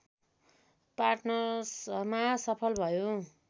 पार्टनर्समा सफल भयो